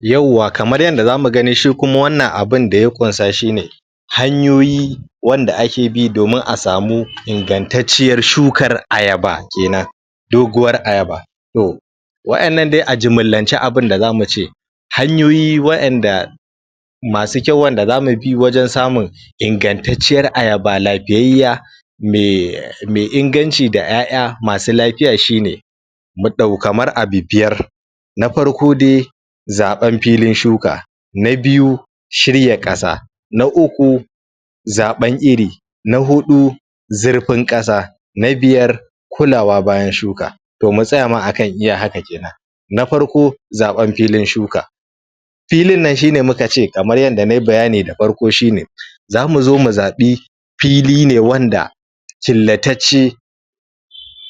Yauwa, kamar yanda zamu gani shi kuma wannan abinda ya ƙunsa shine hanyoyi wanda ake bi domin a samu ingantacciyar shukar ayaba kenan, doguwar ayaba to wa innan dai a jumullance abinda zamu ce hanyoyi wa inda masu kyau wa inda zamu bi wajen samun ingattaciyyar ayaba, lafiyayyiya me, me inganci da ƴaƴa masu lafiya shine mu ɗau kamar abu biyar, na farko dai, zaɓan filin shuka, na biyu shirya ƙasa, na uku zaɓan iri, na hudu zurfin ƙasa, na biyar kulawa bayan shuka. To mu tsaya ma iya haka kenan na farko zaɓan filin shuka filin nan shine mukace kamar yanda nayi bayani da farko shine zamuzo mu zaɓi fili ne wanda killatacce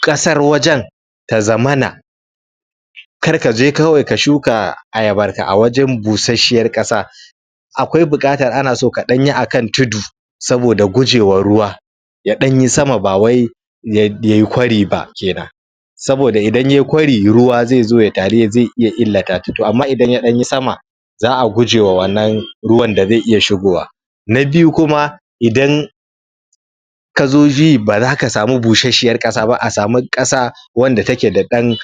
ƙasar wajen ta zamana kar kaje kawai ka shuka ayabarka a wajen busashshiyar ƙasa, akwai buƙatar anaso kaɗanyi a kan tudu saboda gujewa ruwa ya ɗanyi sama ba wai yai yayi kwari ba kenan saboda idan yayi kwari ruwa zaizo ya taru zai iya illata ta, to amma idan ya ɗanyi sama za'a gujewa wannan ruwan da zai iya shigowa na biyu kuma, idan kazo ji baza ka sami busashshiyar ƙasa ba a samu ƙasa wanda take da ɗan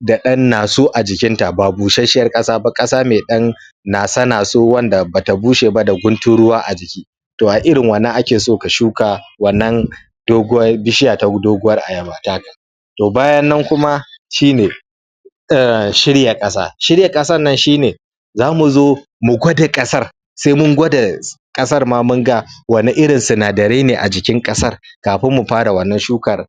da ɗan naso a jikinta ba busashshiyar ƙasa ba, ƙasa mai ɗan naso-naso wanda bata bushe ba da guntun ruwa a jiki. To a irin wannan akeso ka shuka wannan doguwar bishiya ta doguwar ayaba da don to bayan nan kuma shine shirya ƙasa, shirya ƙasan nan shine zamuzo mu gwada ƙasar sai mun gwada ƙasar ma munga wani irin sinadarai ne a jikin ƙasar kafin mu fara wannan shukar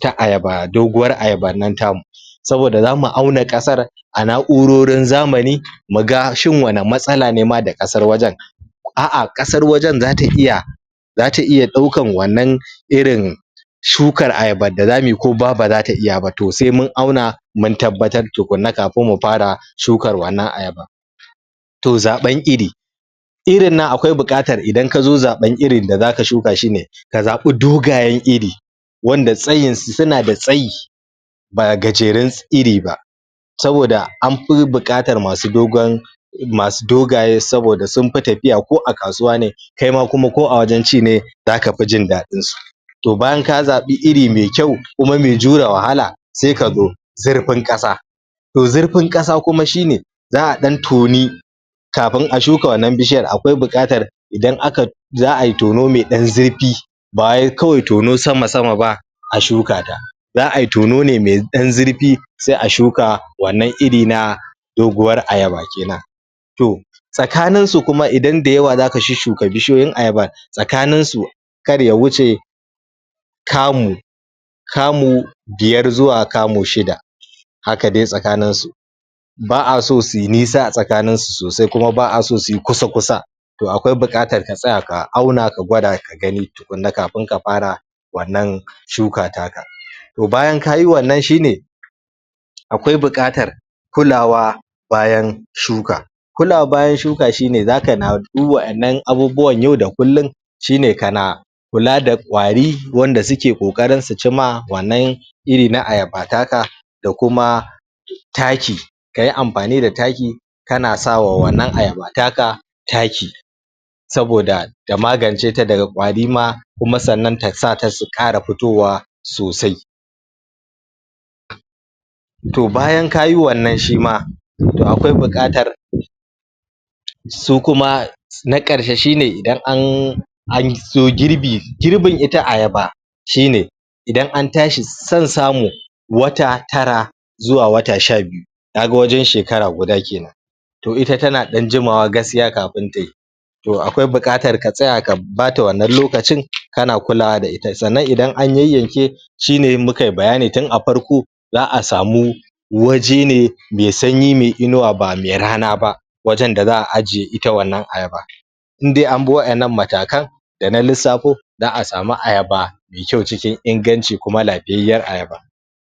ta ayaba, doguwar ayabar nan tamu saboda zamu auna ƙasar a na'urorin zamani muga shin wani matsala ne ma da ƙasar wajen a'a, ƙasar wajen zata iya zata iya ɗaukar wannan irin shukar ayabar da zamuyi ko ma baza ta iya ba, to sai mun auna mun tabbatar tukunna kafin mu fara shukar wannan ayabar. To zaɓar iri, irin nan akwai buƙatar idan kazo zaɓar irin da zaka shuka shine ka zaɓi dogayen iri, wanda tsayinsu suna da tsayi ba gajerun iri ba saboda anfi buƙatar masu dogon masu dogaye, saboda sunfi tafiya ko a kasuwa ne kaima kuma ko a wajen ci ne za kafi jin ɗaɗinsu To bayan ka zaɓi iri me kyau kuma mai jure wahala se kazo zurfin ƙasa to zurfin ƙasa kuma shine za'a ɗan toni kafin a shuka wannan bishiyar akwai bukatar idan aka tona za'ayi tono me ɗan zurfi bawai kawai tono sama-sama ba a shuka ta za'ayi tono ne mai ɗan zurfi se a shuka wannan iri na doguwar ayaba kenan. To, tsakaninsu kuma idan da yawa zaka shushshuka bishiyoyin ayabar tsakaninsu kar ya wuce kamu kamu biyar zuwa kamu shida haka dai tsakaninsu ba'a so suyi nisa a tsakaninsu sosai kuma ba'a so suyi kusa-kusa to akwai buƙatar ka tsaya ka auna ka gwada ka gani tukunna kafin ka fara wannan shuka taka. To bayan kayi wannan shine akwai buƙatar kulawa bayan shuka. kulawa bayan shuka shine za kana duk waɗannan abubuwan yau da kullum shine kana kula da ƙwari wanda suke ƙoƙarin su ci ma wannan iri na ayaba taka da kuma taki kayi amfani da taki kana sawa wannan ayaba taka taki saboda ta magance ta daga kwari ma kuma sannan ta sata ta ƙara fito wa sosai to bayan kayi wannan shima to akwai buƙatar su kuma na ƙarshe shine idan an anzo girbi, girbin ita ayaba shine idan an tashi son samu wata tara zuwa wata sha biyu kaga wajen shekara guda kenan. To ita tana ɗan jimawa gaskiya kafin tayi to akwai buƙatar ka tsaya bata wannan lokacin kana kulawa da ita, sannan idan an yayyanke shine mukayi bayani tun a farko za'a samu waje ne me sanyi me inuwa ba mai rana ba wajen da za'a ajiye ita wannan ayaba in dai anbi wa innan matakan da na lissafo, za'a sami ayaba me kyau cikin inganci, kuma lafiyayyiyar ayaba.